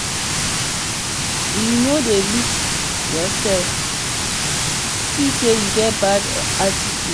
you no dey look yoursef see sey you get bad attitude?